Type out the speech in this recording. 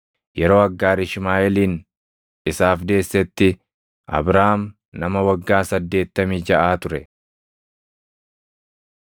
Yeroo Aggaar Ishmaaʼeelin isaaf deessetti Abraam nama waggaa saddeettamii jaʼaa ture.